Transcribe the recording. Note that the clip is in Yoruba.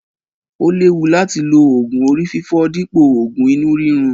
Ó léwu láti lo oògùn orí fífọ́ dípò òògùn inú rírun.